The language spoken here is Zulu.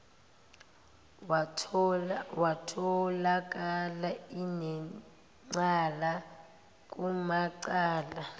watholakala enecala kumacala